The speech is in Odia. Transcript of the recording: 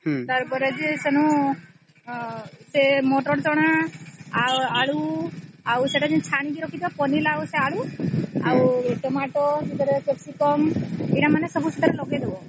ତାର ପରେ ଯେ ସ୍ୱେଣୁ ସେ ମଟର ଚଣା ଆଉ ଆଳୁ ଆଉ ସେଟା ଯେନ ଛାଣିକି ରଖିଚ ସେ ପନିର ଆଉ ଆଳୁ ଆଉ Tomato ସେଥିରେ capsicum ଏଟା ମାନେ ସେଥିରେ ସବୁ ଲଗେଇ ଦବ